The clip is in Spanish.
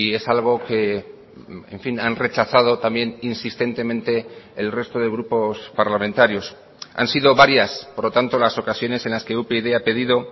es algo que en fin han rechazado también insistentemente el resto de grupos parlamentarios han sido varias por lo tanto las ocasiones en las que upyd ha pedido